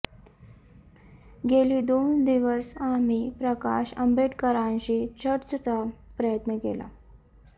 गेली दोन दिवस आम्ही प्रकाश आंबेडकरांशी चर्चेचा प्रयत्न केला